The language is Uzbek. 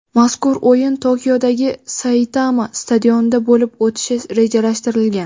Mazkur o‘yin Tokiodagi "Saitama" stadionida bo‘lib o‘tishi rejalashtirilgan.